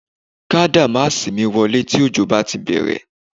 Ká dàmáàsì mi wọlé tí òjò bá ti bẹ̀rẹ̀